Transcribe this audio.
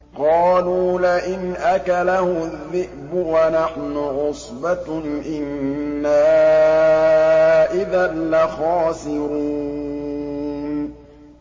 قَالُوا لَئِنْ أَكَلَهُ الذِّئْبُ وَنَحْنُ عُصْبَةٌ إِنَّا إِذًا لَّخَاسِرُونَ